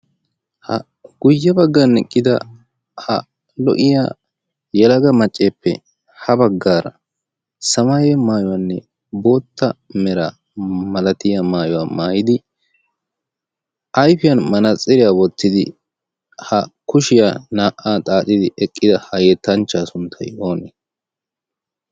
Ha guyye baggan eqqida ha lo"iyaa yelaga macceppe ha baggara samaye maayuwanne bootta mera malatiya maayuwa maayidi ayfiyaan manaxxiriyaa wottidi ha kushshiyaa naa"a xaaxxidi eqqida ha yettanchchaa sunttay oonee?